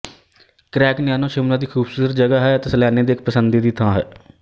ਕਰੈਗਨੈਨੋ ਸ਼ਿਮਲਾਦੀ ਖ਼ੂਬਸੂਰਤ ਜਗ੍ਹਾ ਹੈ ਅਤੇ ਸੈਲਾਨੀਆਂ ਦੀ ਪਸੰਦੀ ਦੀ ਥਾਂ ਹੈ